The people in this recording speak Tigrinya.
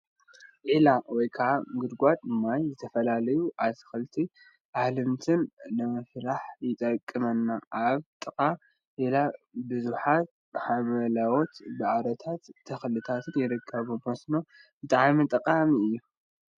ዒላ ወይ ከዓ ጉድጓድ ማይ ንዝተፈላለዩ አትክልትን አሕምልትን ንምፍራይ ይጠቅመና፡፡ አብ ጥቃ ዒላ ቡዙሓት ሓምለዎት ሳዕሪታትን ተክሊታትን ይርከቡዎም፡፡ መስኖ ብጣዕሚ ጠቃሚ እዩ፡፡